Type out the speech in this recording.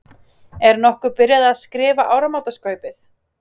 Er nokkuð byrjað að skrifa áramótaskaupið?